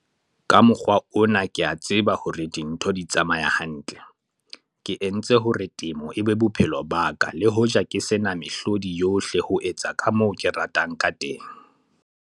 Ka mokgwa ona ke a tseba hore dintho di tsamaya hantle. Ke entse hore temo e be bophelo ba ka le hoja ke se na mehlodi yohle ho etsa ka moo ke ratang ka teng.